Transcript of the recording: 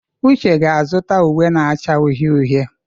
Uche ga-azụta uwe na-acha uhie uhie.